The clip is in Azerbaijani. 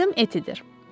Adım Etidir.